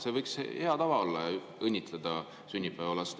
See võiks olla hea tava, õnnitleda sünnipäevalast.